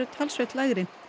talsvert lægri